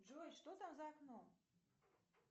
джой что там за окном